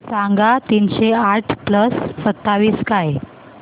सांगा तीनशे आठ प्लस सत्तावीस काय